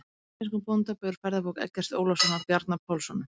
Mynd af íslenskum bóndabæ úr ferðabók Eggerts Ólafssonar og Bjarna Pálssonar.